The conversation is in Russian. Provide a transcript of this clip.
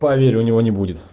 поверь у него не будет